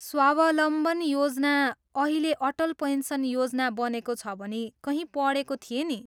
स्वावलम्बन योजना अहिले अटल पेन्सन योजना बनेको छ भनी कहीँ पढेको थिएँ नि?